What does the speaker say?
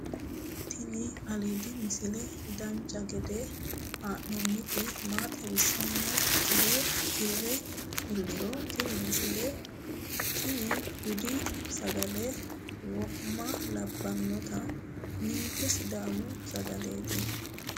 tini aliidi misile dancha gede haa'nooniti maa xawissannoro tire kulliro tini misile tini budi sagale wo'ma labbannoti ninke sidaami sagaleeti